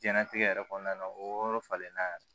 Diɲɛnnatigɛ yɛrɛ kɔnɔna o yɔrɔ falenna